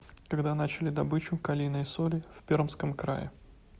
когда начали добычу калийной соли в пермском крае